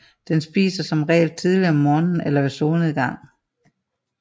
Den spiser som regel tidligt om morgenen eller ved solnedgang